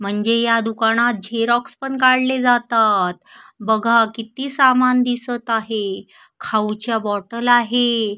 म्हणजे ह्या दुकानात झेरॉक्स पण काढले जातात बघा किती सामान दिसत आहे खाऊ च्या बॉटल आहे.